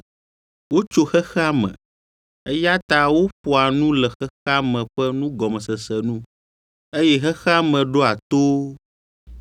Wotso xexea me, eya ta woƒoa nu le xexea me ƒe nugɔmesese nu, eye xexea me ɖoa to wo.